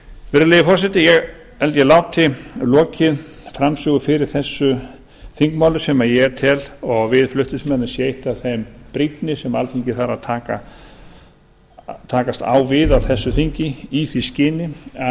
virðulegi forseti ég held ég láti lokið framsögu fyrir þessu þingmáli sem ég tel og við flutningsmenn að sé eitt af þeim brýnni sem alþingi þarf að takast á við á þessu þingi í því skyni að